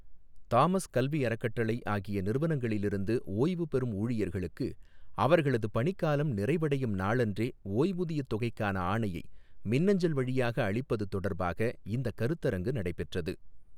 Thomas கல்வி அறக்கட்டளை ஆகிய நிறுவனங்களிலிருந்து ஓய்வு பெறும் ஊழியர்களுக்கு அவர்களது பணிக்காலம் நிறைவடையும் நாளன்றே ஓய்வூதியத் தொகைக்கான ஆணையை, மின்னஞ்சல் வழியாக அளிப்பது தொடர்பாக இந்தக் கருத்தரங்கு நடைபெற்றது.